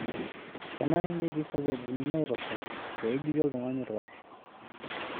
Kenare netii sababuni naitosha pee ejuti oltung'ani olkasi.